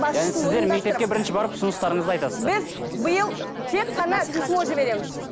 яғни сіздер мектепке бірінші барып ұсыныстарыңызды айтасыздар біз биыл тек қана письмо жібереміз